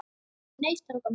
Nei, strákar mínir.